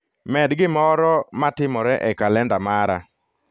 Med gimoro matimore e kalenda mara